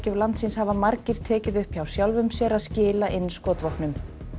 landsins hafa margir tekið upp hjá sjálfum sér að skila inn skotvopnum